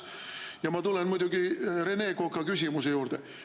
Ja ma tulen Rene Koka küsimuse juurde.